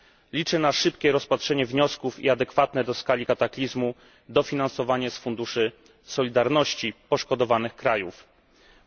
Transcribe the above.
Liczę na szybkie rozpatrzenie wniosków i adekwatne do skali kataklizmu dofinansowanie poszkodowanych krajów z funduszy solidarności.